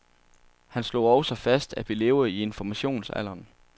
Han slog også fast, at vi lever i informationstidsalderen.